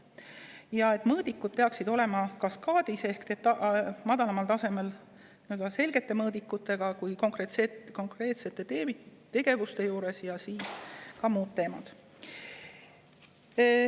mõõdikud peaksid olema kaskaadis ja väiksemad mõõdikud kuni teenuste tasemeni konkreetsete tegevuste juures, seejärel peaksid tulema muud teemad.